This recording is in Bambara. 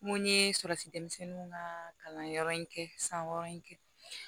N ko n ye sɔrɔsi denmisɛnninw ka kalanyɔrɔ in kɛ san wɔɔrɔ in kɛ